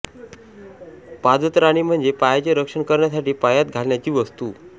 पादत्राणे म्हणजे पायाचे रक्षण करण्यासाठी पायात घालण्याची वस्तु